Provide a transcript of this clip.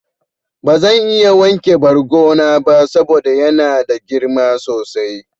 Bazan iya wanke bargo na ba saboda yana da girma sosai.